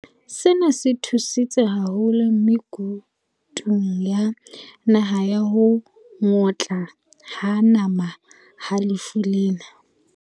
Sena se thusitse haholo me kutung ya naha ya ho ngotla ho nama ha lefu lena.